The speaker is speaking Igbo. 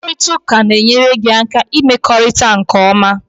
Mkparịta ụka na-enyere gị aka ịmekọrịta nke ọma